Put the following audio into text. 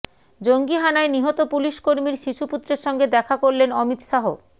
জঙ্গি হানায় নিহত পুলিশকর্মীর শিশুপুত্রের সঙ্গে দেখা করলেন অমিত শাহ